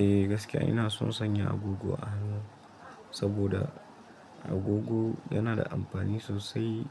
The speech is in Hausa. Eh gaskiya ina son sanya agogo a hannu saboda agogo yana da amfani sosai